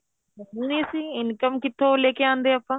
ਨਹੀਂ ਅਸੀਂ income ਕਿੱਥੋ ਲੈ ਕੇ ਆਂਦੇ ਆਪਾਂ